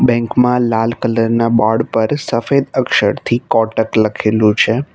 Bank માં લાલ colour ના બોર્ડ પર સફેદ અક્ષરથી કોટક લખેલું છે.